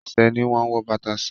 Ẹṣẹ̀ ni wọ́n wọ bàtà sí.